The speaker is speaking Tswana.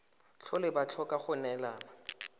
tlhole ba tlhoka go neelana